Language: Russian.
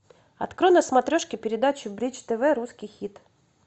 открой на смотрешке передачу бридж тв русский хит